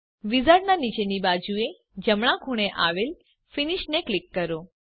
વિઝાર્ડનાં નીચેની બાજુએ જમણાં ખૂણે આવેલ ફિનિશ ને ક્લિક કરો